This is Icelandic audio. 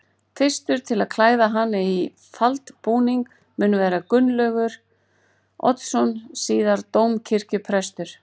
Fyrstur til að klæða hana í faldbúning mun vera Gunnlaugur Oddsson síðar dómkirkjuprestur.